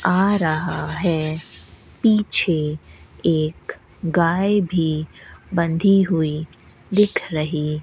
आ रहा है पीछे एक गाय भी बंधी हुई दिख रही --